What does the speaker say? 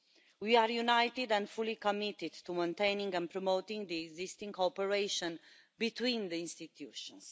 We are united and fully committed to maintaining and promoting the existing cooperation between the institutions.